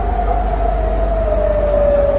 Əşhədü ənnə Muhammədən Rəsulullah.